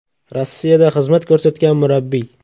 Rossiyada xizmat ko‘rsatgan murabbiy.